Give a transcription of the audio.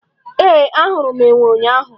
Ee, ahụrụ m enwe ụnyaahụ.